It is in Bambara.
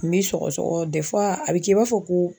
N be sɔgɔsɔgɔ a bɛ kɛ i b'a fɔ ko